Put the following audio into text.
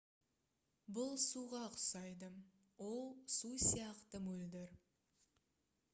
бұл суға ұқсайды ол су сияқты мөлдір